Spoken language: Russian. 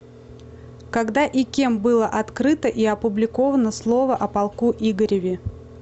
когда и кем было открыто и опубликовано слово о полку игореве